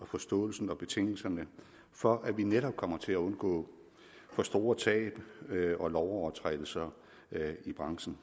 forståelse af betingelserne for at vi netop kommer til at undgå for store tab og lovovertrædelser i branchen